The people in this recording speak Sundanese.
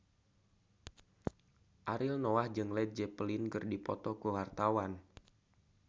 Ariel Noah jeung Led Zeppelin keur dipoto ku wartawan